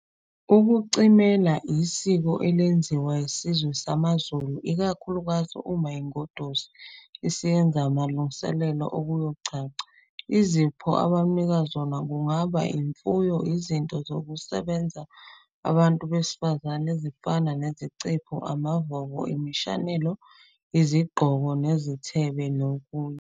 Ukucimela isiko elenziwa isizwe samaZulu ikakhulukazi uma ingoduso isiyenza amalungiselello okuyogcagca. Izipho abamnika zona kungaba imfuyo, izinto zokusebenza zabantu besifazane, ezifana nezicephu, amavovo, imishanelo, izingqoko nezithebe nokunye.